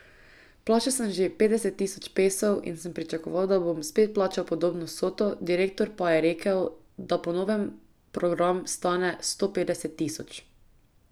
Plačal sem že petdeset tisoč pesov in sem pričakoval, da bom spet plačal podobno vsoto, direktor pa je rekel, da po novem program stane sto petdeset tisoč.